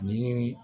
Ni